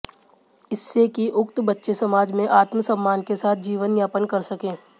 इससे कि उक्त बच्चे समाज में आत्मसम्मान के साथ जीवनयापन कर सकें